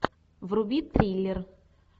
вруби триллер